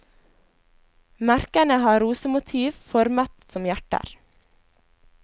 Merkene har rosemotiv formet som hjerter.